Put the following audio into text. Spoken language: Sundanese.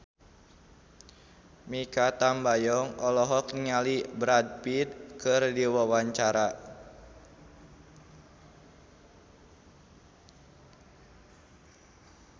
Mikha Tambayong olohok ningali Brad Pitt keur diwawancara